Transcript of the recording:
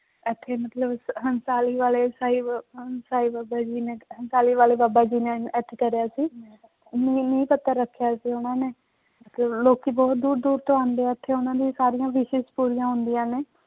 ਇੱਥੇ ਮਤਲਬ ਹੰਸਾਰੀ ਵਾਲੇ ਸਾਹਿਬ ਹੰਸਾਰੀ ਬਾਬਾ ਜੀ ਨੇ, ਹੰਸਾਰੀ ਵਾਲੇ ਬਾਬਾ ਜੀ ਨੇ ਇੱਥੇ ਕਰਿਆ ਸੀ ਨੀਂਹ ਪੱਥਰ ਰੱਖਿਆ ਸੀ ਉਹਨਾਂ ਨੇ ਤੇ ਲੋਕੀ ਬਹੁਤ ਦੂਰ ਦੂਰ ਤੋਂ ਆਉਂਦੇ ਹੈ ਇੱਥੇ ਉਹਨਾਂ ਦੀ ਸਾਰੀਆਂ wishes ਪੂਰੀਆਂ ਹੁੰਦੀਆਂ ਨੇ।